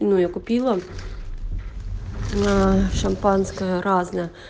ну я купила аа шампанское разное